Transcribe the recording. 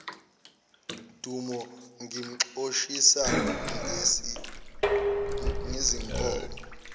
dumo ngimxoshisa ngezinkomo